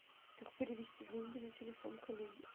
как перевести деньги на телефон коллеги